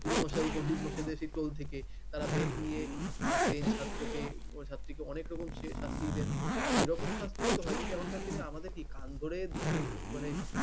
গুরু মশাই পন্ডিতমশাইদের সেই দল থেকে তারা বেত নিয়ে মারতেন ছাত্রকে ছাত্রীকে অনেক রকম সে শাস্তি দিতেন সেরকম শাস্তিও তো হয় কিন্তু এখনকার দিনে আমাদের কান ধরে উট উ মানে